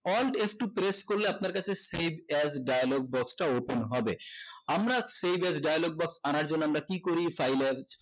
alt f two press করলে আপনার কাছে save as dialogue box টা open হবে আমরা save as dialogue box আনার জন্য আমরা কি করি file এ